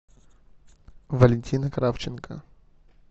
валентина кравченко